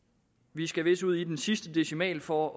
vi skal vist ud i den sidste decimal for